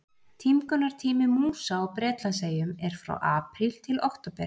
Tímgunartími músa á Bretlandseyjum er frá apríl til október.